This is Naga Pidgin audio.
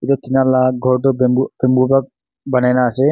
etu tina lah ghor tu bamboo bamboo pra banai na ase.